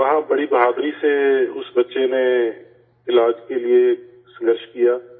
وہاں بڑی بہادری سے اس بچہ نے علاج کے لیے جدوجہد کی